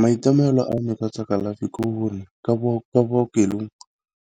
Maitemogelo a me ka tsa kalafi ke gore kwa bookelong